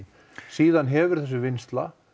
síðan hefur þessi vinnsla